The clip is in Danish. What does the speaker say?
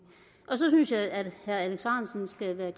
så synes jeg at herre alex ahrendtsen skal være